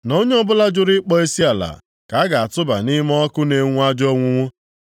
na onye ọbụla jụrụ ịkpọ isiala ka a ga-atụba nʼime ọkụ na-enwu ajọ onwunwu.